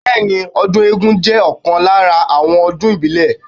Bẹẹni, ọdún eégún jẹ́ ọ̀kan lára àwọn ọdún ìbílẹ̀.